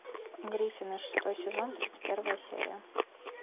гриффины шестой сезон тридцать первая серия